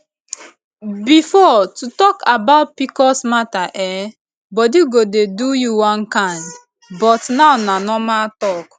before to talk about pcos matter[um]body go dey do you one kind but now na normal talk